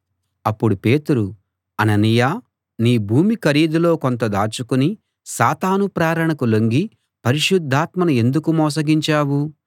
అప్పుడు పేతురు అననీయా నీ భూమి ఖరీదులో కొంత దాచుకుని సాతాను ప్రేరణకు లొంగి పరిశుద్ధాత్మను ఎందుకు మోసగించావు